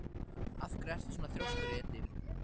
Af hverju ertu svona þrjóskur, Edil?